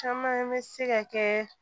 Caman bɛ se ka kɛ